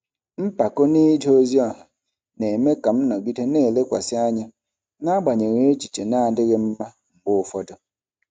Mpako n'ije ozi ọha na-eme ka m nọgide na-elekwasị anya n'agbanyeghị echiche na-adịghị mma mgbe ụfọdụ.